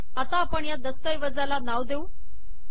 आता आपण या दस्तऐवजाला नाव देऊ